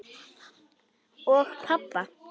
Og pabba!